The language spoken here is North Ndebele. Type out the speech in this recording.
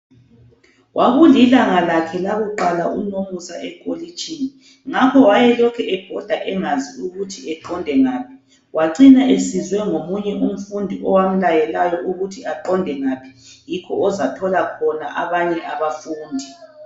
Kwakulilanga lakhe lakuqala uNomusa ekolitshini ngakho wayelokhe ebhoda engazi ukuthi eqonde ngaphi wacina esizwe ngomunye umfundi owamlayelayo ukuthi aqonde ngaphi yikho ozathola khona abanye abafundi.